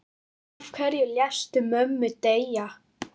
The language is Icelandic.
Af hverju léstu mömmu deyja?